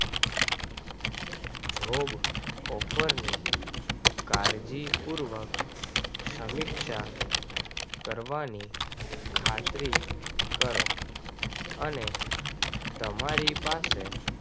Job ઓફરને કાળજીપૂર્વક સમીક્ષા કરવાની ખાતરી કરો. અને તમારી પાસે